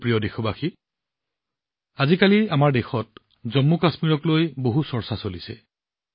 মোৰ প্ৰিয় দেশবাসী আজিকালি আমাৰ দেশত জম্মুকাশ্মীৰক লৈ যথেষ্ট চৰ্চা চলিছে